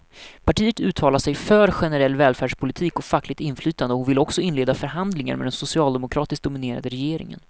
Partiet uttalar sig för generell välfärdspolitik och fackligt inflytande och vill också inleda förhandlingar med den socialdemokratiskt dominerade regeringen.